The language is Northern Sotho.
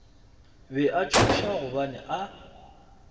be a tšhoša gobane a